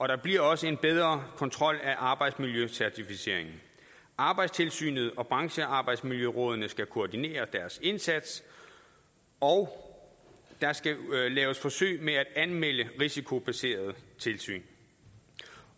der bliver også en bedre kontrol af arbejdsmiljøcertificeringen arbejdstilsynet og branchearbejdsmiljørådene skal koordinere deres indsats og der skal laves forsøg med at anmelde risikobaserede tilsyn